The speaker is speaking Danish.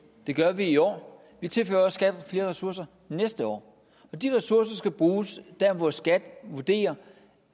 det gør vi i år vi tilfører også skat flere ressourcer næste år de ressourcer skal bruges der hvor skat vurderer